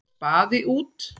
Spaði út.